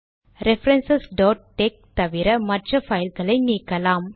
referencesடெக்ஸ் தவிற மற்ற பைல்களை நீக்கலாம்